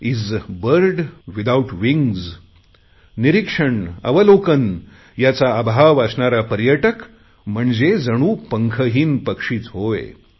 is a bird without wingsनिरीक्षण अवलोकन याचा अभाव असणारा पर्यटक म्हणजे जणू पंखहीन पक्षीच होय